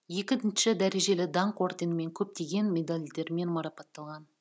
екінші дәрежелі даңқ орденімен көптеген медальдермен марапатталған